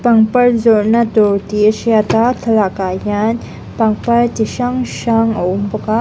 pangpar zawrhna dawr tih a hriat a thlalak ah hian pangpar chi hrang hrang a awm bawka a.